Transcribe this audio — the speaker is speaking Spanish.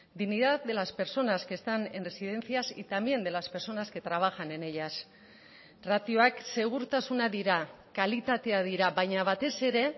dignidad de las personas que están en residencias y también de las personas que trabajan en ellas ratioak segurtasuna dira kalitatea dira baina batez ere